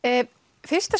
fyrsta